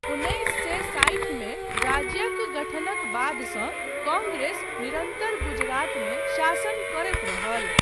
उन्नैस सए साठि मे राज्यक गठनक बादसँ कांग्रेस निरन्तर गुजरातमे शासन करैत रहल।